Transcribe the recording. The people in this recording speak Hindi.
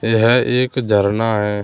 यह एक झरना है।